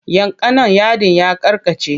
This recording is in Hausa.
Yanka nan yadin ya karkace!